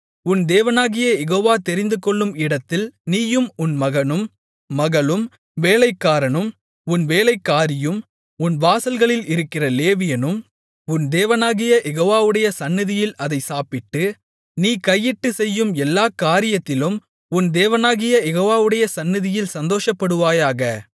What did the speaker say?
உன் தேவனாகிய யெகோவா தெரிந்துகொள்ளும் இடத்தில் நீயும் உன் மகனும் மகளும் வேலைக்காரனும் உன் வேலைக்காரியும் உன் வாசல்களில் இருக்கிற லேவியனும் உன் தேவனாகிய யெகோவாவுடைய சந்நிதியில் அதைச் சாப்பிட்டு நீ கையிட்டுச் செய்யும் எல்லாக் காரியத்திலும் உன் தேவனாகிய யெகோவாவுடைய சந்நிதியில் சந்தோஷப்படுவாயாக